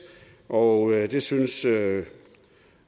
og det synes